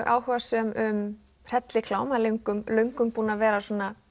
áhugasöm um hrelliklám löngum löngum búið að vera